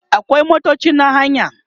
akwai motoci na haya